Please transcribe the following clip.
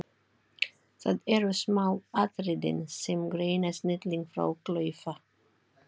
Það eru smáatriðin sem greina snilling frá klaufa.